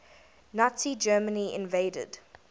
nazi germany invaded